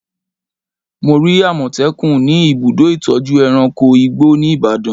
Mo rí àmọ̀tẹ́kùn ni ibùdó ìtọ́jú ẹranko igbó ní Ibadan